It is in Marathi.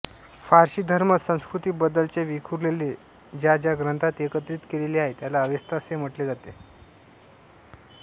पारशी धर्म संस्कृतीबद्दलचे विखुरलेले ज्या ज्या ग्रंथात एकत्रित केलेले आहे त्याला अवेस्ता असे म्हटले जाते